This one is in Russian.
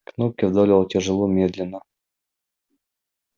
кнопки вдавливал тяжело медленно